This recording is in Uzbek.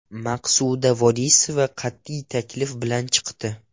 Maqsuda Vorisova qat’iy taklif bilan chiqdi.